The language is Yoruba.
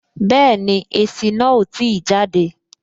Bẹẹni, èsì náà o ti jade